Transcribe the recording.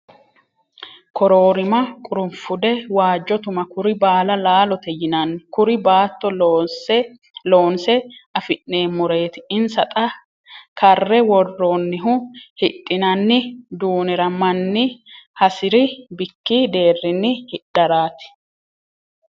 Kororima qurufude waajo tuma kuri baalla laalote yinanni kuri baatto loonse afi'neemmoreti insa xa karre woroonihu hidhinanni duunira manni hasiri bikki deerinni hidharati.